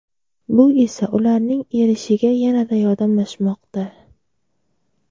Bu esa ularning erishiga yanada yordamlashmoqda.